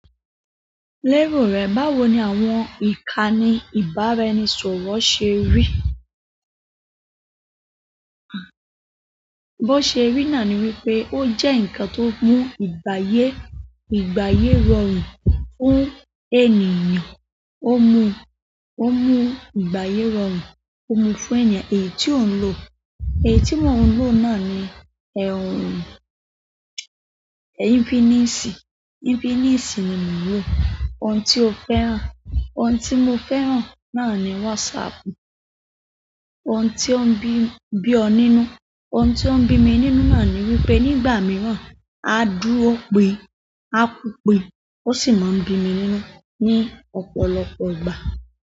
Lérò rẹ, báwo ni àwọn ìkànnì ìbáraẹnisọ̀rọ̀ ṣe rí? Bó ṣe rí náà ni wípé ó jẹ́ ǹkan tó mú ìgbáyé, ìgbáyé rọrùn fún ènìyàn, ó mú, ó mú ìgbáyé rọrùn, ó mú fún ènìyàn èyí tí òun lò. Èyí tí mòún lò náà ni, Infiniisi, Infiniisi ni mòún lò. Ohun tí o fẹ́ràn, ohun tí mo fẹ́ràn náà ni wásaapù. Ohun tí ó ń bí, bí ọ nínú, ohun tí ó ń bí mi nínú náà ni wípé nígbà mìíràn aa dúró pi, aa kú pi ó sì máa ń bí mi nínú ní ọ̀pọ̀lọpọ̀ ìgbà.